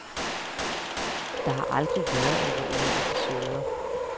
Der har aldrig været alvorlige episoder.